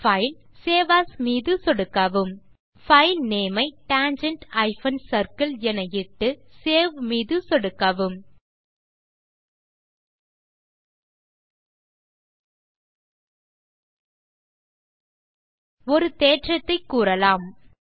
பைல்க்ட்க்ட் save as மீது சொடுக்கவும் file name ஐ tangent சர்க்கிள் என இட்டு Saveமீது சொடுக்கவும் ஒரு தேற்றத்தை கூறலாம்